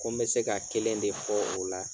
Ko n bɛ se ka kelen de fɔ o la